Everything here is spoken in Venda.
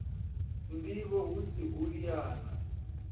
ndivho hu si u liana